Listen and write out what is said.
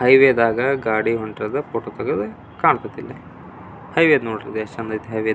Highway ದಾಗ ಗಾಡಿ ಹೊಂಟೈತೆ ಫೋಟೋ ತೆಗಿಯದು ಕಾಂತಾ ದೇ. ಇಲ್ಲಿ ಹೈವೇ ನೋಡ್ರಿ ಎಷ್ಟು ಚಂದ್ ಐತೆ ಹೈವೇ --